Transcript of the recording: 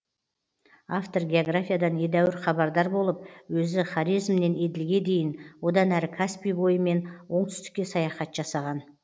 автор географиядан едәуір хабардар болып өзі хорезмнен еділге дейін одан әрі каспий бойымен оңтүстікке саяхат жасаған